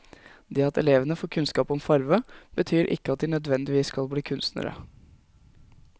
Det at elevene får kunnskap om farve, betyr ikke at de nødvendigvis skal bli kunstnere.